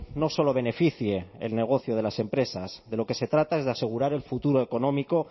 no solo beneficie el negocio de las empresas de lo que se trata es de asegurar el futuro económico